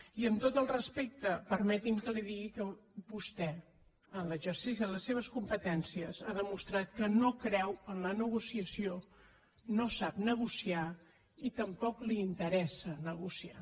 i amb tot el respecte permeti’m que li digui que vostè en l’exercici de les seves competències ha demostrat que no creu en la negociació no sap negociar i tampoc li interessa negociar